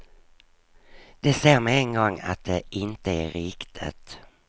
De ser med en gång att det inte är riktigt.